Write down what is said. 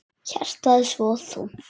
Hjartað svo þungt.